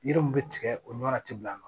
Yiri mun be tigɛ o ɲɔa ti bila a nɔ na